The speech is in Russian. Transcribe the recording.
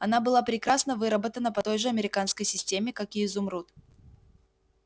она была прекрасно выработана по той же американской системе как и изумруд